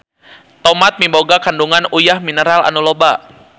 Tomat miboga kandungan uyah mineral anu loba.